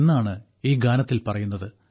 എന്നാണ് ഈ ഗാനത്തിൽ പറയുന്നത്